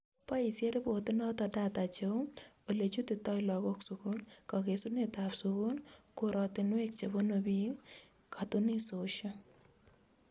Boisie riport inoto data cheu, olechutitoi lagok sukul ,kakesunetab sukul ,korotinwek chebunu biik, katunisioshek